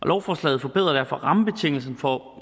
lovforslaget forbedrer derfor rammebetingelserne for